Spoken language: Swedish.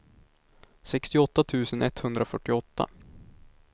sextioåtta tusen etthundrafyrtioåtta